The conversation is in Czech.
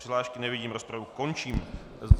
Přihlášky nevidím, rozpravu končím.